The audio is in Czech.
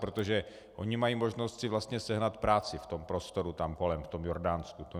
Protože oni mají možnost si vlastně sehnat práci v tom prostoru tam kolem, v tom Jordánsku.